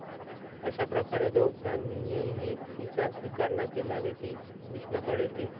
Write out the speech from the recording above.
अश्याप्रकारे दोघांनीही तिचा स्वीकार न केल्याने ती भीष्माकडे येते.